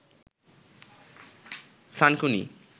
থানকুনি